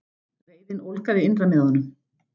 Og reiðin ólgaði innra með honum.